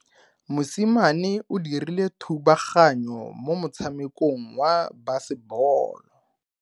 Mosimane o dirile thubaganyo mo motshamekong wa basebolo.